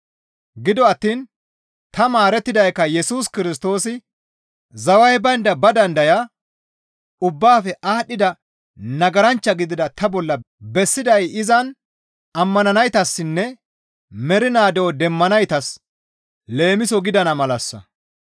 Gido attiin ta maarettidaykka Yesus Kirstoosi zaway baynda ba dandayaa, ubbaafe aadhdhida nagaranchcha gidida ta bolla bessiday izan ammananaytassinne mernaa de7o demmanaytas leemiso gidana malassa.